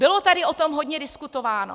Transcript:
Bylo tady o tom hodně diskutováno.